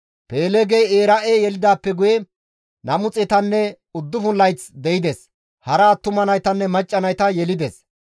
Peeleegey Era7e yelidaappe guye 209 layth de7ides; hara attuma naytanne macca nayta yelides.